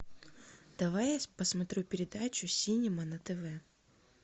давай я посмотрю передачу синема на тв